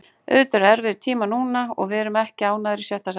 Auðvitað eru erfiðir tímar núna og við erum ekki ánægðir í sjötta sæti.